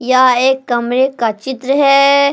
यह एक कमरे का चित्र है।